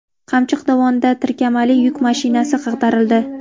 Qamchiq dovonida tirkamali yuk mashinasi ag‘darildi.